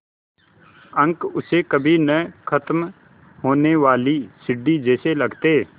अंक उसे कभी न ख़त्म होने वाली सीढ़ी जैसे लगते